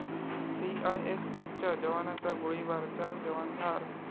सीआयएसएफच्या जवानाचा गोळीबार, चार जवान ठार